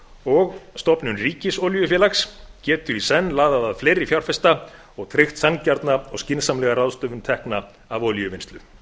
og stofnun ríkisolíufélags getur í senn laðað að fleiri fjárfesta og tryggt sanngjarna og skynsamlega ráðstöfun tekna af olíuvinnslu